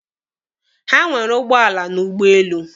Ha nwere ụgbọala na ụgbọelu.